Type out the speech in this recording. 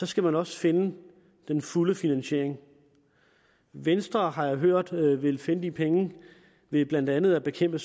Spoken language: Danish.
skal man også finde den fulde finansiering venstre har jeg hørt vil vil finde de penge ved blandt andet at bekæmpe